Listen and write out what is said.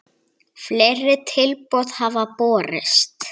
Fleiri tilboð hafa borist.